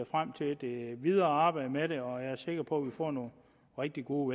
frem til det videre arbejde med det og jeg er sikker på at vi får nogle rigtig gode